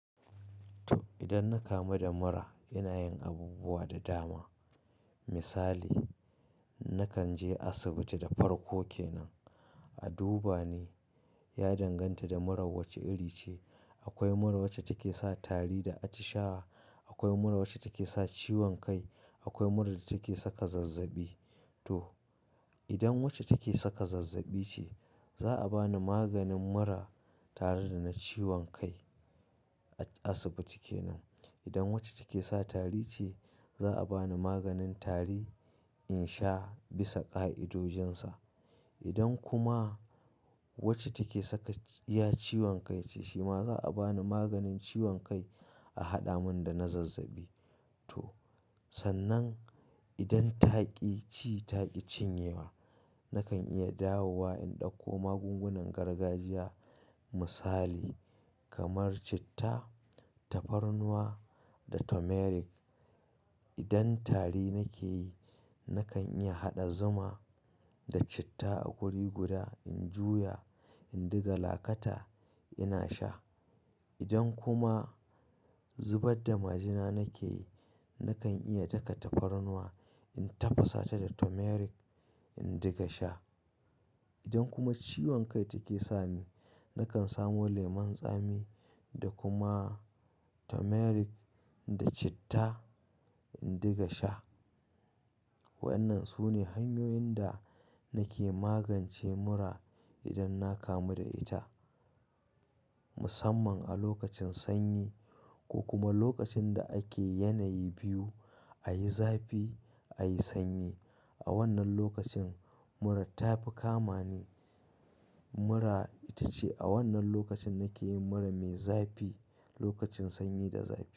To, idan na kamu da mura, ina yin abubuwa da dama. Misali, nakan je asibiti da farko ke nan a duba ni ya danganta da mura wace iri ce. Akwai mura wacce take sa tari da atishawa, akwai mura wacce take sa ciwon kai, akwai mura da take saka zazzabi. To, idan wacce take saka zazzabi ce, za a ba ni maganin mura tare da na ciwon kai a asibiti kenan. Idan wacce take sa tari ce, za a ba ni maganin tari in sha bisa ƙa'idojinsa. Idan kuma wacce take saka iya ciwon kai ce shima za a ba ni maganin ciwon kai a haɗa mun da na zazzabi. To, sannan idan taƙi ci taƙi cinyewa, nakan iya dawowa in ɗauko magungunan gargajiya misali kamar citta, tafarnuwa da turmeric. Idan tari nake yi, nakan iya haɗa zuma da citta a guriguda in juya in diga lakata ina sha. Idan kuma zubar da majina nake yi, nakan iya daka tafarnuwa in tafasa ta da turmeric in diga sha. Idan kuma ciwon kai take sa ni, nakan samo lemon tsami da kuma turmeric da citta in diga sha. Waɗannan su ne hanyoyin da nake magance mura idan na kamu da ita. Musamman a lokacin sanyi ko kuma lokacin da ake yanayi biyu a yi zafi, a yi sanyi. A wannan lokacin mura ta fi kama ne. Mura ita ce a wannan lokacin nake yin mura mai zafi, lokacin sanyi da zafi.